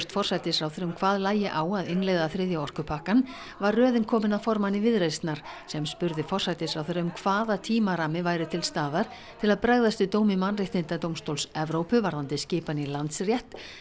forsætisráðherra um hvað lægi á að innleiða þriðja orkupakkann var röðin komin að formanni Viðreisnar sem spurði forsætisráðherra um hvaða tímarammi væri til staðar til að bregðast við dómi Mannréttindadómstóls Evrópu varðandi skipan í Landsrétt